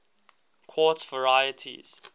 quartz varieties